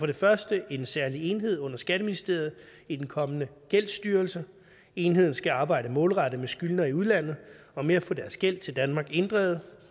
det første en særlig enhed under skatteministeriet i den kommende gældsstyrelse enheden skal arbejde målrettet med skyldnere i udlandet og med at få deres gæld til danmark inddrevet